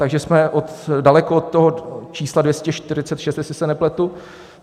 Takže jsme daleko od toho čísla 246, jestli se nepletu.